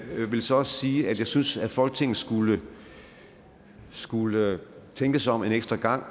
vil så også sige at jeg synes at folketinget skulle tænke sig om en ekstra gang og